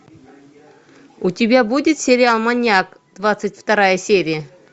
у тебя будет сериал маньяк двадцать вторая серия